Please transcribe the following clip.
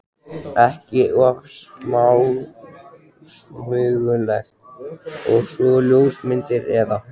ekki of smásmugulegt- og svo ljósmyndir með.